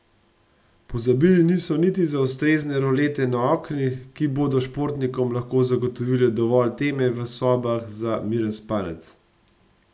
Pozabili niso niti za ustrezne rolete na oknih, ki bodo športnikom lahko zagotovile dovolj teme v sobah za miren spanec.